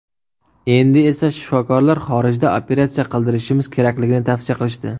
Endi esa shifokorlar xorijda operatsiya qildirishimiz kerakligini tavsiya qilishdi.